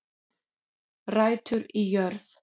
Rætur í jörð